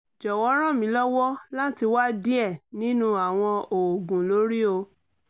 jọwọ ran mi lọwọ lati wa diẹ ninu awọn oogun lori o